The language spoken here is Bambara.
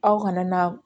Aw kana na